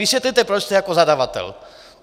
Vysvětlete, proč jste jako zadavatel..."